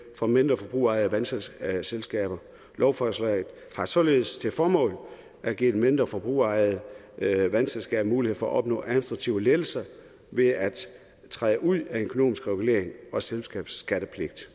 for mindre forbrugerejede vandselskaber lovforslaget har således til formål at give de mindre forbrugerejede vandselskaber mulighed for at opnå administrativ ledelse ved at træde ud af den økonomiske regulering og selskabsskattepligt